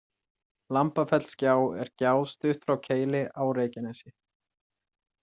Lambafellsgjá er gjá stutt frá Keili á Reykjanesi.